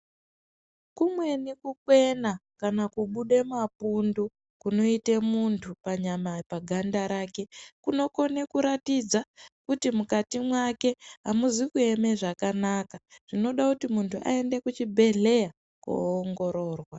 Kumweni kukwena kana kubude mapundu kunoite muntu panyama, paganda rake kunokona kuratidza kuti mukati mwake hamuzi kueme zvakanaka, zvinoda kuti muntu aende kuchibhedhlera koongororwa.